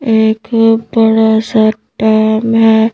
एक बड़ा सा टाइम है।